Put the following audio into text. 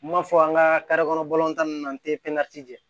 N m'a fɔ an ka kɔnɔ ninnu na n tɛ pɛnti